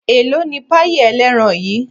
elò ní payí eleerán yíí?